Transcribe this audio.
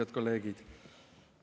Head kolleegid!